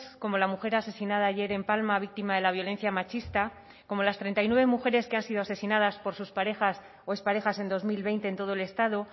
como la mujer asesinada ayer en palma víctima de la violencia machista como las treinta y nueve mujeres que han sido asesinadas por sus parejas o exparejas en dos mil veinte en todo el estado